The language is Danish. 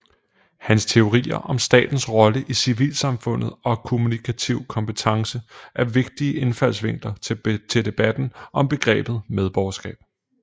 Hans teorier om statens rolle i civilsamfundet og kommunikativ kompetence er vigtige indfaldsvinkler til debatten om begrebet medborgerskab